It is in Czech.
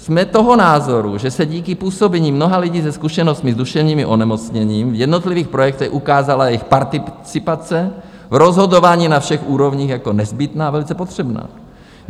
"Jsme toho názoru, že se díky působení mnoha lidí se zkušenostmi s duševním onemocněním v jednotlivých projektech ukázala jejich participace v rozhodování na všech úrovních jako nezbytná a velice potřebná.